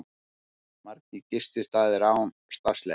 Margir gististaðir án starfsleyfis